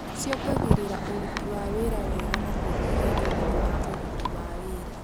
Ciongagĩrĩra ũruti wa wĩra wega na kũnyihia thogora wa ũruti wa wĩra.